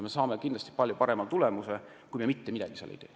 Nii saame kindlasti palju parema tulemuse kui siis, kui me mitte midagi seal ei tee.